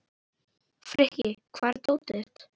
Frikki, hvar er dótið mitt?